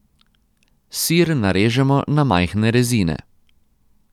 Sir narežemo na majhne rezine.